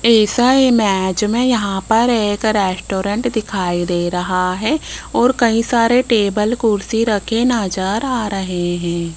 इस इमेज में यहां पर एक रेस्टोरेंट दिखाई दे रहा है और कई सारे टेबल कुर्सी रखें नजर आ रहे हैं।